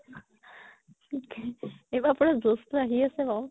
এইবাৰ পুৰা josh তো আহি আছে বাৰু